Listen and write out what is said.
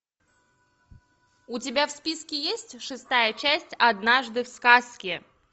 у тебя в списке есть шестая часть однажды в сказке